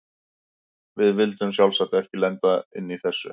Við vildum sjálfsagt ekki lenda inni í þessu!